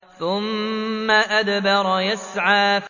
ثُمَّ أَدْبَرَ يَسْعَىٰ